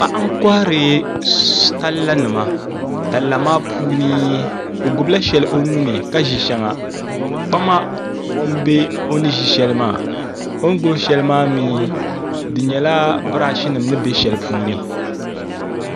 Paɣa n kɔhiri talla nima talla nima puuni o gbubi la shɛli o nuuni ka zi ahɛŋa kpama n yɛ o ni zi shɛli maa o ni gbubi shɛli maa mi di yɛla braahi nima ni bɛ ahɛli puuni.